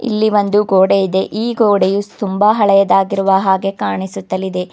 ಇಲ್ಲಿ ಒಂದು ಗೋಡೆ ಇದೆ ಈ ಗೋಡೆಯು ತುಂಬಾ ಹಳೆಯದಾಗಿರುವ ಹಾಗೆ ಕಾನಿಸುತ್ತಲಿದೆ.